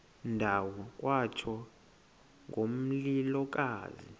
ndawo kwatsho ngomlilokazi